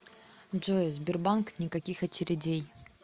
джой сбербанк никаких очередей